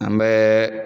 An bɛ